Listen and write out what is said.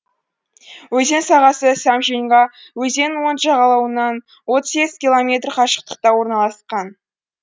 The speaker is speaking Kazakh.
өзен сағасы сямженьга өзенінің оң жағалауынан отыз сегіз километр қашықтықта орналасқан